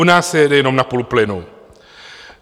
U nás se jede jenom na půl plynu.